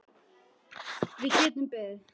Við getum beðið.